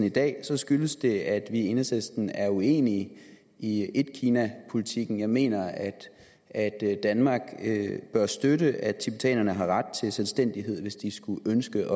i dag skyldes det at vi i enhedslisten er uenige i etkinapolitikken jeg mener at danmark bør støtte at tibetanerne har ret til selvstændighed hvis de skulle ønske